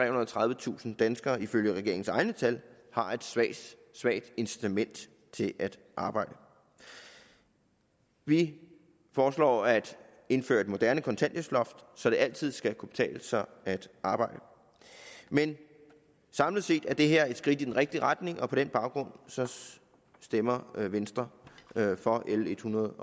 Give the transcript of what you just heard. og tredivetusind danskere ifølge regeringens egne tal har et svagt svagt incitament til at arbejde vi foreslår at indføre et moderne kontanthjælpsloft så det altid skal kunne betale sig at arbejde men samlet set er det her et skridt i den rigtige retning og på den baggrund stemmer venstre for l ethundrede